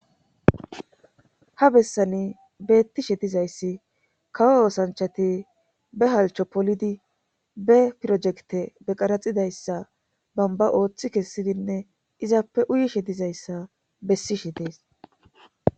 Ha bessani beettishe dizayssi kawo oosanchati be halcho polidi be pirojekte be qaraxidayssa bamba ooththi kessidinne izappe uyishe dizayssa bessishe dees.